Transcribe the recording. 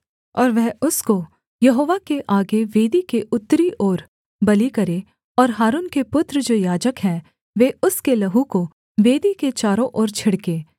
और वह उसको यहोवा के आगे वेदी के उत्तरी ओर बलि करे और हारून के पुत्र जो याजक हैं वे उसके लहू को वेदी के चारों ओर छिड़कें